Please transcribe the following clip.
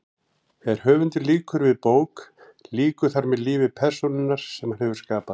Þegar höfundur lýkur við bók lýkur þar með lífi persónunnar sem hann hefur skapað.